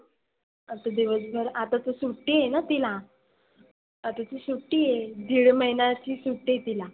आता दिवसभर आता तर सुट्टी आहेना तीला. आता ती सुट्टी आहे. दिड महिण्याची सुट्टी आहे तीला.